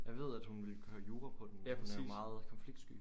Jeg ved at hun ville køre jura på den men hun er jo meget konfliktsky